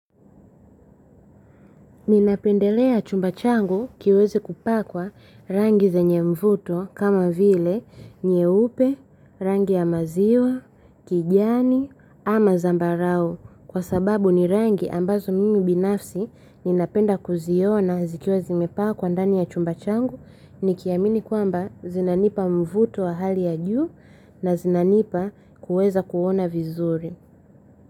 Ninapendelea chumba changu kiweze kupakwa rangi zenye mvuto kama vile nyeupe, rangi ya maziwa, kijani ama zambarau kwa sababu ni rangi ambazo mimi binafsi ninapenda kuziona zikiwa zimepakwa ndani ya chumba changu nikiamini kwamba zinanipa mvuto wa hali ya juu na zinanipa kuweza kuona vizuri.